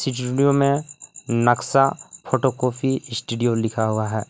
इस वीडियो में नक्सा फोटो कोफी इस्टूडियो लिखा हुआ है।